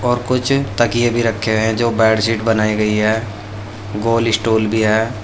और कुछ तकिए भी रखे हुए हैं जो बेडशीट बनाई गई है। गोल स्टूल भी है।